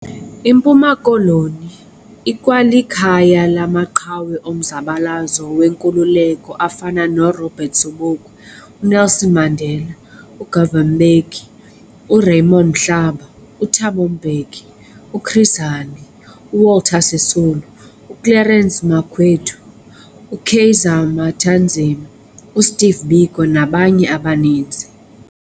IMpuma Koloni ikwalikhaya lamaqhawe omzabalazo wenkululeko afana noRobert Sobukwe, uNelson Mandela, uGovan Mbeki, uRaymond Mhlaba, uThabo Mbeki, uChris Hani, uWalter Sisulu, uClerence Makwethu, uKaiser Matanzima, uSteve Biko nabanye abaninzi.